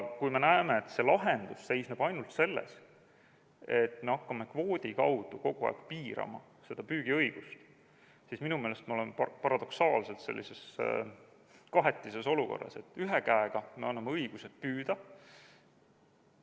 Kui me näeme, et lahendus seisneb ainult selles, et me hakkame kvoodi kaudu kogu aeg piirama seda püügiõigust, siis minu meelest me oleme paradoksaalselt sellises kahetises olukorras, et ühe käega me anname õiguse püüda ...